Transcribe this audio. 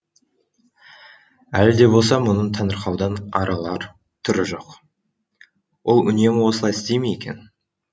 әлі де болса мұның таңырқаудан арылар түрі жоқ ол үнемі осылай істей ме екен